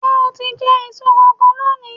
Ṣé o ti jẹ èso kankan lónìí?